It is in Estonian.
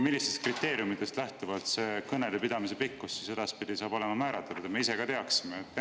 Millistest kriteeriumidest lähtuvalt see kõnede pidamise pikkus siis edaspidi saab olema määratletud, et me ka teaksime?